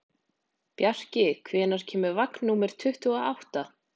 Bjarki, hvenær kemur vagn númer tuttugu og átta?